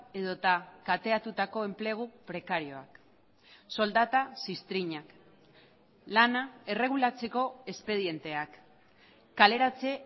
edota kateatutako enplegu prekarioak soldata ziztrinak lana erregulatzeko espedienteak kaleratze